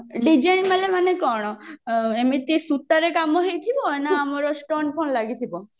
design ବାଲା ମାନେ କଣ ଏମିତି ସୂତାରେ କାମ ହେଇଥିବ ନା ଆମର stone ଲାଗିଥିବ